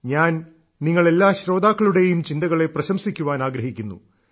ഞാൻ നിങ്ങൾ എല്ലാ ശ്രോതാക്കളുടെയും ചിന്തകളെ പ്രശംസിക്കുവാൻ ആഗ്രഹിക്കുന്നു